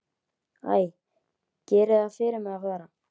Æ, gerið það fyrir mig að fara.